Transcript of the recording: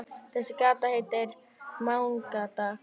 Þessi gata heitir Mánagata, hugsar hann.